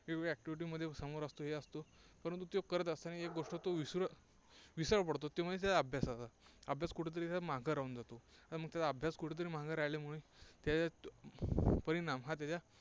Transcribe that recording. वेगवेगळ्या activity मध्ये समोर असतो हे असतो. परंतु त्यो करत असताना एक गोष्ट तो विसरू विसर पडतो ते म्हणजे त्याच्या अभ्यासाचा. अभ्यास कुठे तरी त्याचा मागं राहून जातो. मग त्याचा अभ्यास कुठे तरी मागे राहिल्यामुळे त्या त्याचा परिणाम हा त्याच्या